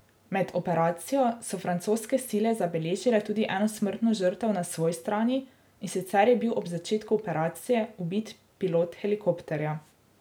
Med operacijo so francoske sile zabeležile tudi eno smrtno žrtev na svoji strani, in sicer je bil ob začetku operacije ubit pilot helikopterja.